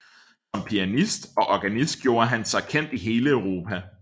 Som pianist og organist gjorde han sig kendt i hele Europa